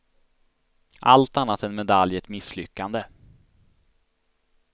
Allt annat än medalj är ett misslyckande.